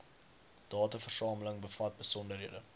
dataversameling bevat besonderhede